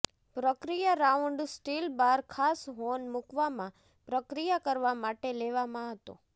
પ્રક્રિયા round steel bar ખાસ horn મૂકવામાં પ્રક્રિયા કરવા માટે લેવામાં હતો